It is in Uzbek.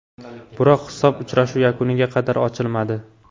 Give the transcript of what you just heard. Biroq hisob uchrashuv yakuniga qadar ochilmadi.